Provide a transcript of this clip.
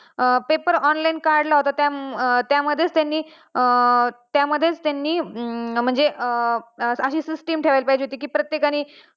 pepar online काढला होता त्यामध्ये त्यांनी अशी system ठेवायला पाहिजे होती कि प्रत्येकानी